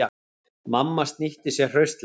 Mamma snýtti sér hraustlega.